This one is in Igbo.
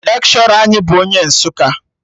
Lekshọra anyị bụ onye Nsụka